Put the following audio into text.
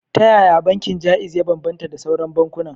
Ta yaya bankin Jaiz ya bambanta da sauran bankunan?